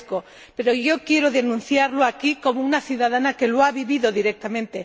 Se lo agradezco, pero yo quiero denunciarlo aquí como una ciudadana que lo ha vivido directamente.